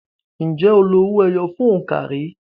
Ǹjẹ́ o lo owó ẹyọ fún òǹkà rí?